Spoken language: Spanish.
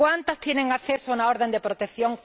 ¿Cuántas tienen acceso a una orden de protección?